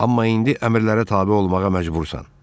Amma indi əmrlərə tabe olmağa məcbursan.